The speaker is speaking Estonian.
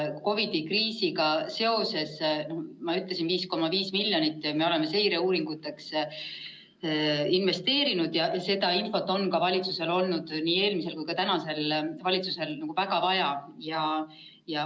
COVID‑i kriisiga seoses ma ütlesin, et me oleme 5,5 miljonit seireuuringuteks investeerinud ja seda on ka valitsusel – oli nii eelmisel kui on ka praegusel valitsusel – väga vaja.